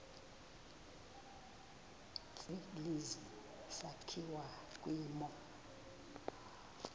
tsibizi sakhiwa kwimo